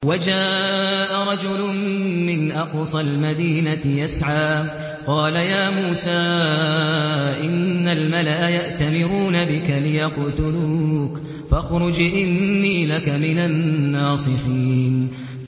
وَجَاءَ رَجُلٌ مِّنْ أَقْصَى الْمَدِينَةِ يَسْعَىٰ قَالَ يَا مُوسَىٰ إِنَّ الْمَلَأَ يَأْتَمِرُونَ بِكَ لِيَقْتُلُوكَ فَاخْرُجْ إِنِّي لَكَ مِنَ النَّاصِحِينَ